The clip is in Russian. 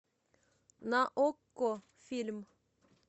на окко фильм